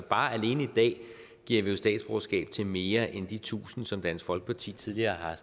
alene i dag giver vi jo statsborgerskab til mere end de tusind som dansk folkeparti tidligere har